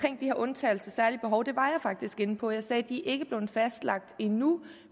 her undtagelser og særlige behov det var jeg faktisk inde på jeg sagde at de ikke er blevet fastlagt endnu